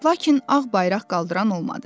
Lakin ağ bayraq qaldıran olmadı.